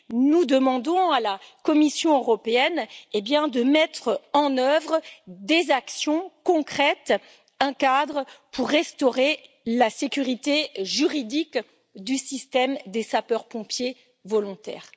Nous demandons à la Commission européenne de mettre en œuvre des actions concrètes, un cadre pour restaurer la sécurité juridique du système des sapeurs pompiers volontaires.